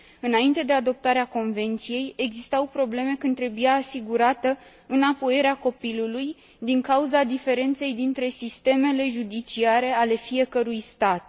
Înainte de adoptarea convenției, existau probleme când trebuia asigurată înapoierea copilului, din cauza diferenței dintre sistemele judiciare ale fiecărui stat.